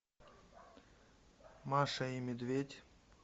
маша и медведь